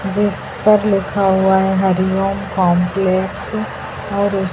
जिस पर लिखा हुआ है हरिओम कंपलेक्स और--